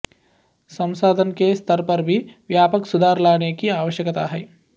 संसाधन के स्तर पर भी व्यापक सुधार लाने की आवश्यकता है